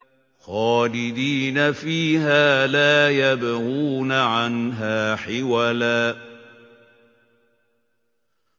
خَالِدِينَ فِيهَا لَا يَبْغُونَ عَنْهَا حِوَلًا